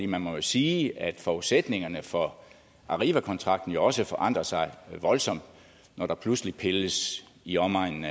man må jo sige at forudsætningerne for arrivakontrakten jo også forandrer sig voldsomt når der pludselig pilles i omegnen